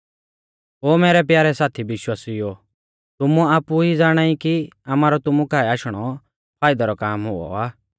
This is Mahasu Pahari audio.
ओ मैरै प्यारै साथी विश्वासिउओ तुमै आपु ई ज़ाणाई कि आमारौ तुमु काऐ आशणौ फाइदा रौ काम हुऔ आ